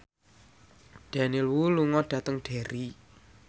Daniel Wu lunga dhateng Derry